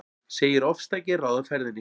Segir ofstæki ráða ferðinni